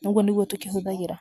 na ũguo nĩguo tũkĩhũthagĩra